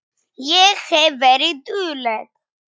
Ég hef verið dugleg.